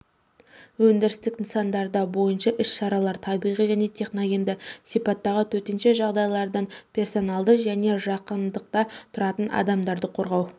өндірістік нысандарда бойынша іс-шаралар табиғи және техногенді сипаттағы төтенше жағдайлардан персоналды және жақындықта тұратын адамдарды қорғау